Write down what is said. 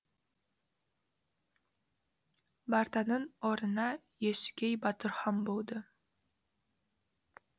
бартанның орнына есукей батыр хан болды